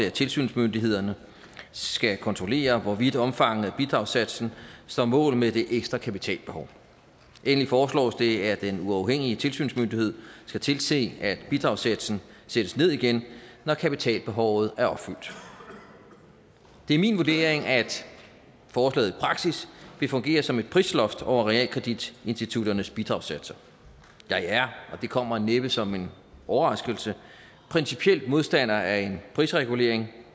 at tilsynsmyndighederne skal kontrollere hvorvidt omfanget af bidragssatsen står mål med det ekstra kapitalbehov endelig foreslås det at den uafhængige tilsynsmyndighed skal tilse at bidragssatsen sættes ned igen når kapitalbehovet er opfyldt det er min vurdering at forslaget i praksis vil fungere som et prisloft over realkreditinstitutternes bidragssatser jeg er og det kommer næppe som en overraskelse principielt modstander af en prisregulering